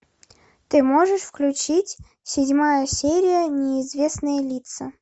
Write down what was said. ты можешь включить седьмая серия неизвестные лица